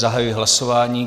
Zahajuji hlasování.